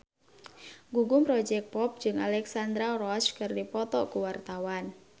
Gugum Project Pop jeung Alexandra Roach keur dipoto ku wartawan